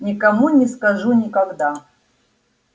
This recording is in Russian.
никому не скажу никогда